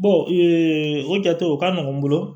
o jate o ka nɔgɔn n bolo